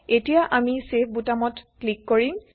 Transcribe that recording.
এতিয়া আমি চেভ বুটামত ক্লিক কৰিম